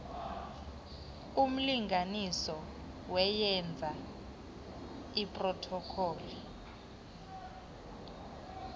umlinganiso weyeza iprothokholi